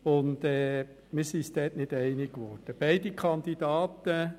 Es präsentieren sich zwei ausgezeichnete Kandidaturen.